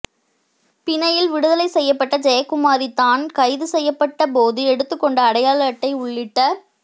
பிணையில் விடுதலை செய்யப்பட்ட ஜெயக்குமாரி தான் கைது செய்யப்பட்ட போது எடுத்துக்கொண்ட அடையாள அட்டை உள்ளிட்ட